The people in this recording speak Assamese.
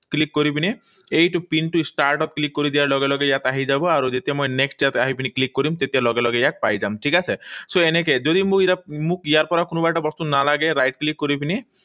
Click কৰি পিনে এইটো পিনটো star ত click কৰি দিয়া লগে লগে ইয়াত আহি যাব। আৰু যেতিয়া মই next ইয়াত আহি পিনে click কৰিম, তেতিয়া লগে লগে ইয়াত পাই যাম। ঠিক আছে? So, এনেকৈ। যদি মোক ইয়াৰ পৰা কোনোবা এটা বস্তু নালাগে, right click কৰি পিনি